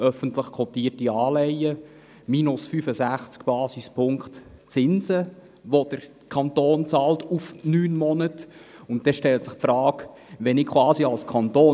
Öffentlich kotierte Anleihen haben minus 65 Basispunkt Zinsen, welche der Kanton über neun Monate hinweg bezahlt.